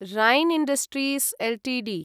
rain industries Ltd